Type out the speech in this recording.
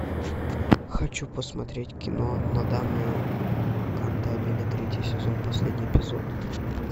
хочу посмотреть кино нодамэ кантабиле третий сезон последний эпизод